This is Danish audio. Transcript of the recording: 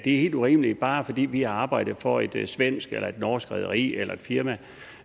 helt urimeligt at bare fordi de har arbejdet for et et svensk eller norsk rederi eller firma